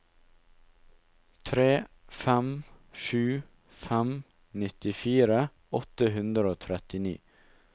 tre fem sju fem nittifire åtte hundre og trettini